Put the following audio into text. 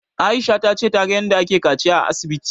Aisha ta ce ta ga yanda ake kaciya a asibiti